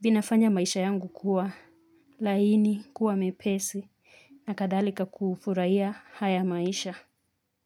vinafanya maisha yangu kuwa laini kuwa mepesi na kadhalika kufurahia haya maisha.